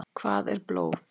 Hvað er blóð?